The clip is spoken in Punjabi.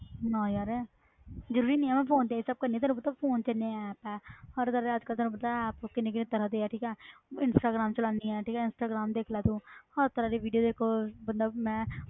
ਨਾ ਯਾਰ ਜ਼ਰੂਰੀ ਨਹੀਂ ਹੈ ਮੈਂ phone ਤੇ ਇਹ ਸਭ ਕਰਦੀ ਹਾਂ ਤੈਨੂੰ ਪਤਾ phone ਤੇ ਇੰਨੇ app ਹੈ ਹਰ ਤਰ੍ਹਾਂ ਦਾ ਅੱਜ ਕੱਲ੍ਹ ਤੈਨੂੰ ਪਤਾ ਹੈ app ਕਿੰਨੇ ਕਿੰਨੇ ਤਰ੍ਹਾਂ ਦੇ ਹੈ ਠੀਕ ਹੈ ਇੰਸਟਾਗ੍ਰਾਮ ਚਲਾਉਂਦੀ ਹੈ, ਠੀਕ ਹੈ, ਇੰਸਟਾਗ੍ਰਾਮ ਦੇਖ ਲੈ ਤੂੰ ਹਰ ਤਰ੍ਹਾਂ ਦੀ video ਦੇਖੋ ਬੰਦਾ ਮੈਂ